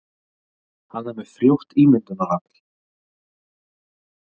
Hann er með frjótt ímyndunarafl.